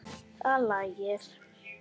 Það lægir.